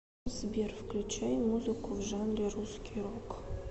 сбер включай музыку в жанре русский рок